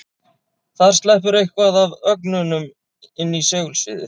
Þar sleppur eitthvað af ögnunum inn í segulsviðið.